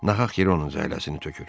Nahaq yeri onun cəhləsini tökür.